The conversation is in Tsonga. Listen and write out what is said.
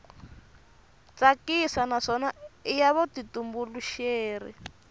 tsakisa naswona i ya vutitumbuluxeri